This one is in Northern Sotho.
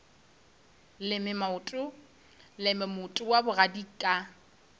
leme moota wa bogadi ka